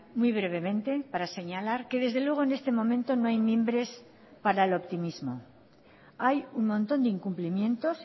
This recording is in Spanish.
muy brevemente para señalar que desde luego en este momento no hay mimbres para el optimismo hay un montón de incumplimientos